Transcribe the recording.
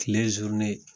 Kile